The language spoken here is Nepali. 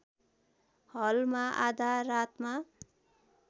हलमा आधा रातमा